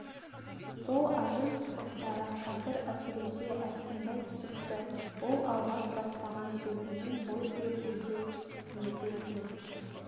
сол ажым сызықтары қазір әсіресе айқындай түсіпті ол алғаш бастаған сөзінен бой берді деп еді сен